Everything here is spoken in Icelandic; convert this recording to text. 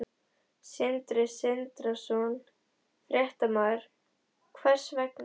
Sindri Sindrason, fréttamaður: Hvers vegna?